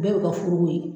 Bɛɛ bi ka furu ko ye